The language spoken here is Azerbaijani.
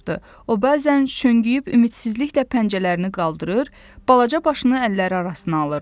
O, bəzən çönküyüb ümidsizliklə pəncərələrini qaldırır, balaca başını əlləri arasına alırdı.